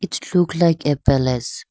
its look like a palace.